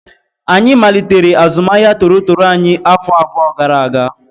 Anyị malitere azụmahịa toro toro anyị afọ abụọ gara aga